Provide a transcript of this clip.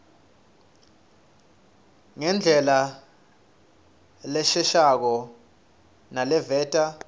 ngendlela leshelelako naleveta